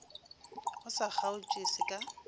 o sa kgaotše se ka